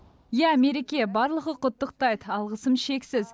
иә мереке барлығы құттықтайд алғысым шексіз